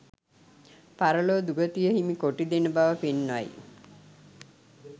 පරලොව දුගතිය හිමි කොට දෙන බව පෙන්වයි